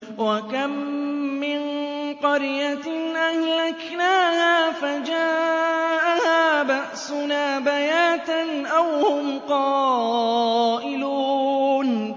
وَكَم مِّن قَرْيَةٍ أَهْلَكْنَاهَا فَجَاءَهَا بَأْسُنَا بَيَاتًا أَوْ هُمْ قَائِلُونَ